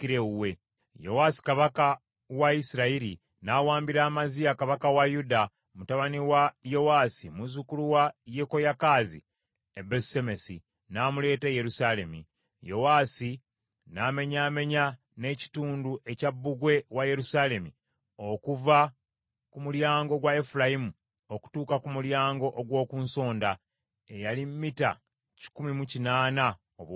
Yowaasi kabaka wa Isirayiri n’awambira Amaziya kabaka wa Yuda mutabani wa Yowaasi, muzzukulu wa Yekoyakaazi e Besusemesi, n’amuleeta e Yerusaalemi. Yowaasi n’amenyaamenya n’ekitundu ekya bbugwe wa Yerusaalemi okuva ku mulyango gwa Efulayimu okutuuka ku Mulyango ogw’oku Nsonda, eyali mita kikumi mu kinaana obuwanvu.